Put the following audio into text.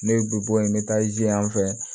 Ne ye bi bɔ yen n bɛ taa ze yan fɛ